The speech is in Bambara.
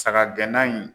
Saga gɛnna in